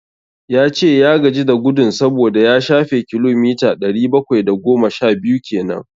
Ya ce ya gaji da gudun saboda ya shafe kilomita ɗari bakwai da goma sha biyu kenan.